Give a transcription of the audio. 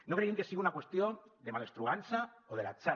no creiem que sigui una qüestió de malastrugança o de l’atzar